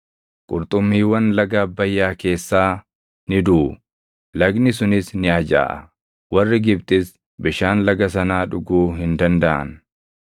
Qurxummiiwwan laga Abbayyaa keessaa ni duʼu; lagni sunis ni ajaaʼa; warri Gibxis bishaan laga sanaa dhuguu hin dandaʼan.’ ”